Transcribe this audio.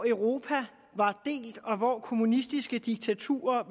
europa delt og kommunistiske diktaturer